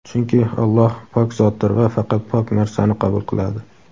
Chunki Alloh pok zotdir va faqat pok narsani qabul qiladi.